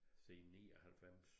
Siden 99